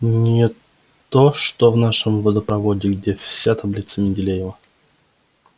не то что в нашем водопроводе где вся таблица менделеева